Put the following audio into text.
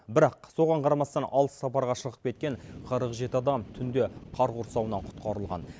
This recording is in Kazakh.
бірақ соған қарамастан алыс сапарға шығып кеткен қырық жеті адам түнде қар құрсауынан құтқарылған